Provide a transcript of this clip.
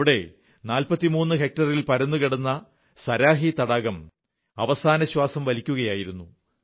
ഇവിടെ 43 ഹെക്ടറിൽ പരന്നു കിടന്നിരുന്ന സരാഹി തടാകം അവസാനശ്വാസം വലിക്കുകയായിരുന്നു